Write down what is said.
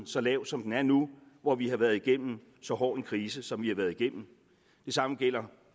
så lav som den er nu hvor vi har været igennem så hård en krise som vi har været igennem det samme gælder